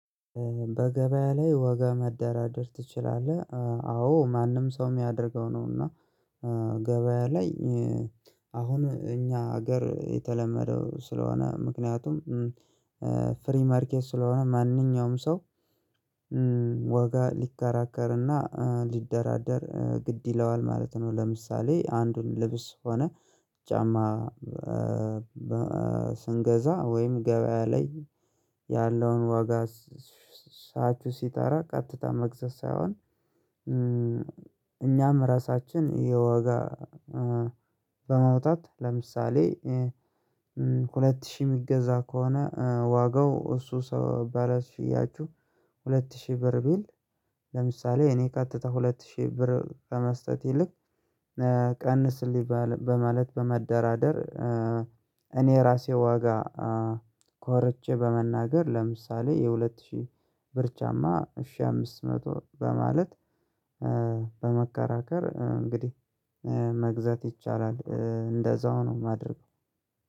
በገበያ ላይ ወገን መደራደር ትችላለህ አዎ ማንኛውም ሰው የሚያደርገው ነው እና ገበያ ላይ አሁን እኛ ሀገር የተለመደው ስለሆነ ምክንያቱም ፍሪ ማርኬት ስለሆነ ማንኛውም ሰው ዋጋ ሊከራከርና ሊደራደር ግድ ይለዋል ማለት ነው ለምሳሌ አንዱን ልብስ ሆነ ጫማ ስንገዛ ወይም ገበያ ላይ ያለውን ዋጋ ሻጩ ሲጠራ ቀጥታ መግዛት ሳይሆን እኛም የራሳችን የዋጋ በማውጣት ለምሳሌ ሁለት ሺህ የሚገዛ ከሆነ ዋጋው እሱ ሰው ባለ ሻጩ ሁለት ሺህ ብር ቢል ለምሳሌ እኔ ቀጥታ ሁለት ሺህ ብር በመስጠት ይልቅ ቀንስልኝ በማለት በመደራደር እኔ ራሴ ዋጋ ቆርጬ በመናገር ለምሳሌ የሁለት ሺህ ብር ጫማ እሺ አምስት መቶ በማለት በመከራከር እንግዲህ መግዛት ይቻላል እንደዛው ነው የማደርገው።